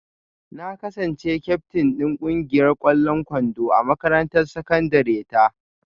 Na kasance kyaftin din kungiyar kwallon kwando a makarantar sakandare ta